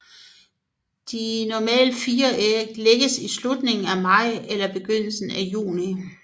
De normalt fire æg lægges i slutningen af maj eller begyndelsen af juni